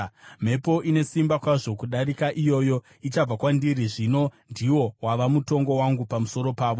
mhepo ine simba kwazvo kudarika iyoyo ichabva kwandiri. Zvino ndiwo wava mutongo wangu pamusoro pavo.”